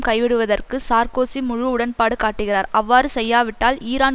கை விடுவதற்கு சார்க்கோசி முழு உடன்பாடு காட்டுகிறார் அவ்வாறு செய்யாவிட்டால் ஈரான்